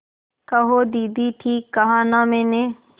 कहो दीदी ठीक कहा न मैंने